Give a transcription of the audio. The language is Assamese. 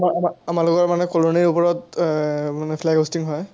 আমা-আমাৰ লগৰ মানে colony ৰ ওপৰত মানে flag hosting হয়,